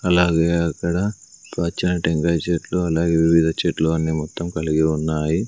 అలాగే అక్కడ పచ్చనీ టెంకాయ చెట్లు అలాగే వివిధ చెట్లు అన్ని మొత్తం కలిగి ఉన్నాయి.